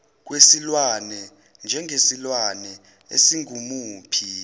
kwesilwane njengesilwane esingumuphi